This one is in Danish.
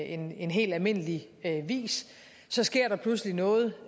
en en helt almindelig vis så sker der pludselig noget